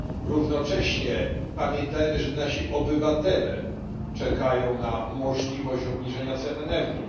Równocześnie pamiętajmy, że nasi obywatele czekają na możliwość obniżenia cen energii.